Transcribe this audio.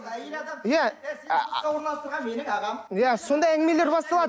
иә сондай әңгімелер басталады